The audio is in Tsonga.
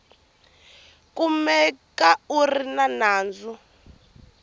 kumeka a ri ni nandzu